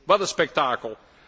Wat een spektakel!